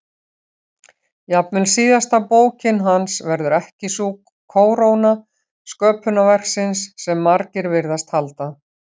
Jafnvel síðasta bókin hans verður ekki sú kóróna sköpunarverksins sem margir virðast halda.